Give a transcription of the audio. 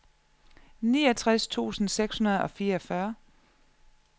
niogtres tusind seks hundrede og fireogfyrre